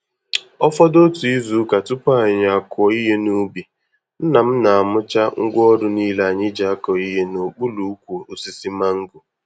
Ọfọdụ otú izuka tupu anyị akụọ ihe n'ubi, Nna m na-amụcha ngwaọrụ niile anyị ji akọ ihe n'okpuru ukwu osisi mango.